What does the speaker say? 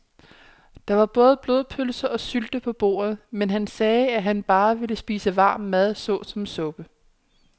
Der var både blodpølse og sylte på bordet, men han sagde, at han bare ville spise varm mad såsom suppe.